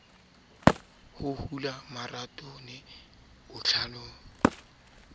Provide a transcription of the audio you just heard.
ho hula marothodi botlolong eo